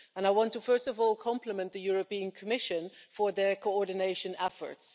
I want to, first of all, compliment the European Commission for their coordination efforts.